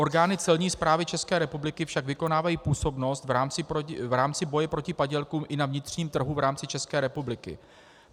Orgány celní správy České republiky však vykonávají působnost v rámci boje proti padělkům i na vnitřním trhu, v rámci České republiky.